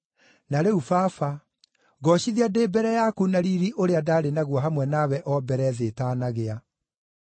Na rĩu Baba, ngoocithia ndĩ mbere yaku na riiri ũrĩa ndaarĩ naguo hamwe nawe o mbere thĩ ĩtaanagĩa.